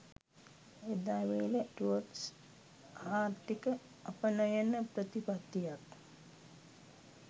එදා වේල ටුවර්ස් ආර්ථික අපනයන ප්‍රතිපත්තියක්